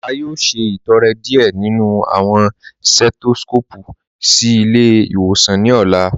A yóò ṣẹtọrẹ́ díẹ̀ nínu awọn setoskopu sí ilẹ̀-ìwòsàn ní ọ̀la.